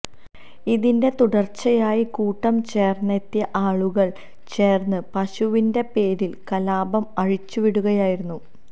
ഇതിന്റെ തുടര്ച്ചയായി കൂട്ടം ചേര്ന്നെത്തിയ ആളുകള് ചേര്ന്ന് പശുവിന്റെ പേരില് കലാപം അഴിച്ചു വിടുകയായിരുന്നു